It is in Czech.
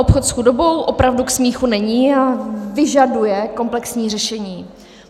Obchod s chudobou opravdu k smíchu není a vyžaduje komplexní řešení.